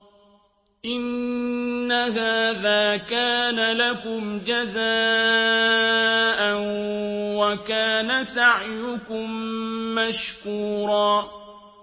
إِنَّ هَٰذَا كَانَ لَكُمْ جَزَاءً وَكَانَ سَعْيُكُم مَّشْكُورًا